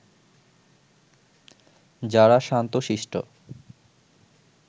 যারা শান্ত শিষ্ট